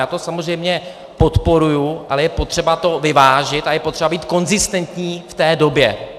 Já to samozřejmě podporuji, ale je potřeba to vyvážit a je potřeba být konzistentní v té době.